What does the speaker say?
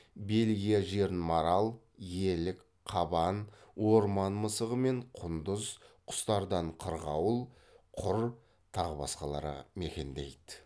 бельгия жерін марал елік қабан орман мысығы мен құндыз құстардан қырғауыл құр тағы басқалары мекендейді